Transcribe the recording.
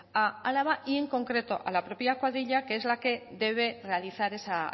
a álava y en concreto a la propia cuadrilla que es la que debe realizar esa